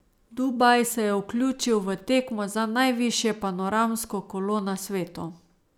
Dubaj se je vključil v tekmo za najvišje panoramsko kolo na svetu.